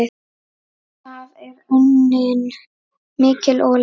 Þar er unnin mikil olía.